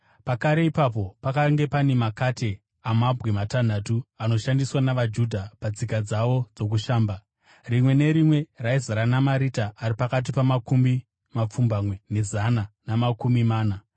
Pakare ipapo pakanga pane makate amabwe matanhatu, anoshandiswa navaJudha patsika dzavo dzokushamba, rimwe nerimwe raizara namarita ari pakati pamakumi mapfumbamwe nezana namakumi mana.